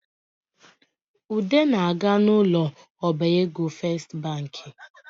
Ude na-aga n’ ụlọ ọbaego festibanki